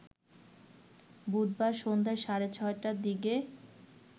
বুধবার সন্ধ্যা সাড়ে ৬টার দিকে